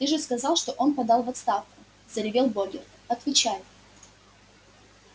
ты же сказал что он подал в отставку заревел богерт отвечай